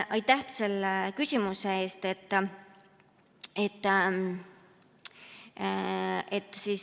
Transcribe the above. Aitäh selle küsimuse eest!